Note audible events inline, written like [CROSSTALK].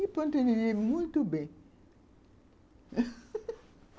E continuei muito bem [LAUGHS]